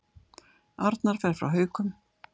Arnar fer frá Haukum